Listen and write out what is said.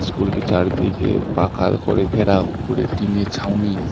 স্কুলটি চারদিকে পাকাল করে ঘেরাও উপরে টিনে ছাউনি।